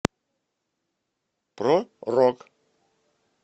про рок